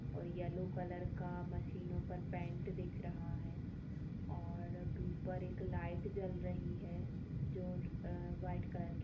और yellow colour का machine ऊपर पेंट दिख रहा है और ऊपर एक लाइट जल रही है जो व्हाइट कलर की--